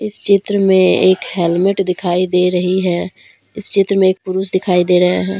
चित्र में एक हेल्मेट दिखाई दे रही है इस चित्र में एक पुरुष दिखाई दे रहे हैं।